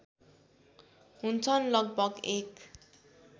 हुन्छन् लगभग एक